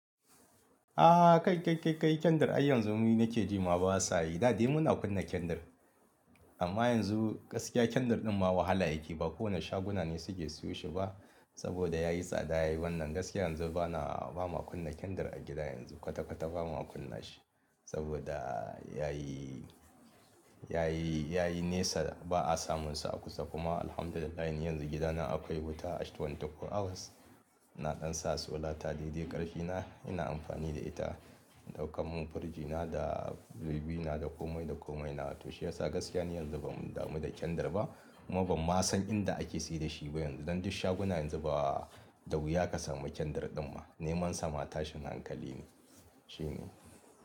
A kai, kai, kai, kai kendr har yanzu mu nake ji ma ba sayi. Da dai muna kunna kendr amma yanzu gaskiya kendr ɗin ma wahala yake. Ba kowane shaguna ne suke siyo shi ba saboda yayi tsada yayi wannan gaskiya yanzu bana ba ma kunna kendr a gida yanzu kwata kwata ba ma kunna shi saboda yayi, yayi, yayi nesa ba a samunsa a kusa kuma Alhamdulillah yanzu gidana akwai wuta 24 hours. Na ɗan sa solar ta, dai dai ƙarfi na, ina amfani da ita. Ɗaukan mun firji na da zubi na da komai da komai na to shiyasa gaskiya ne yanzu bam damu da kendr ba kuma bam ma san inda ake saida shi ba yanzu. Dan duk shaguna yanzu ba da wuya ka samu kendr ɗin ma. Neman sa ma tashin hankali ne shine.